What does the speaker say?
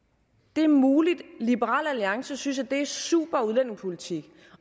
det er muligt liberal alliance synes at det er en super udlændingepolitik